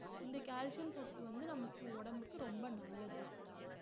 இந்த கால்சியம் சத்து வந்து நமக்கு உடம்புக்கு ரொம்ப நல்லது